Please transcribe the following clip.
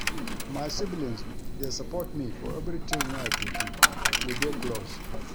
My siblings dey support me for everytin wey I dey do, we dey close.